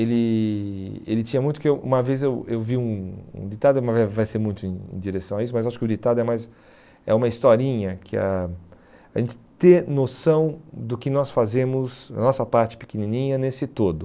Ele ele tinha muito que eu uma vez eu eu vi um um ditado, mas vai ser muito em direção a isso, mas acho que o ditado é mais é uma historinha que ãh, a gente ter noção do que nós fazemos, da nossa parte pequenininha nesse todo.